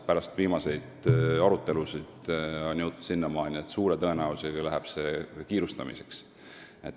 Pärast viimaseid arutelusid on jõutud sinnamaani, et suure tõenäosusega läheks kiirustamiseks.